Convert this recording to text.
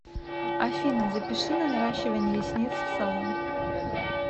афина запиши на наращивание ресниц в салон